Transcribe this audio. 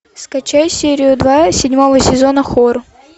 скачай серию два седьмого сезона хор